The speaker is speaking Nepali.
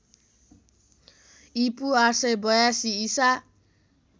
ईपू ८८२ ईसा